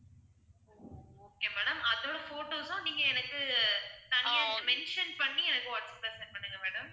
okay madam அதோட photos உம் நீங்க எனக்கு தனியா mention பண்ணி எனக்கு வாட்ஸப்ல send பண்ணுங்க madam